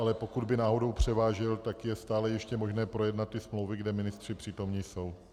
Ale pokud by náhodou převážil, tak je stále ještě možné projednat ty smlouvy, kde ministři přítomní jsou.